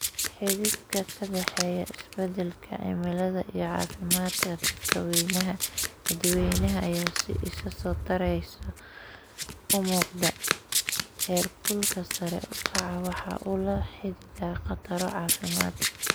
Xidhiidhka ka dhexeeya isbeddelka cimilada iyo caafimaadka dadweynaha ayaa si isa soo taraysa u muuqda, heerkulka sare u kacaa waxa uu la xidhiidha khataro caafimaad.